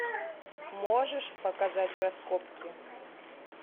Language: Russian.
можешь показать раскопки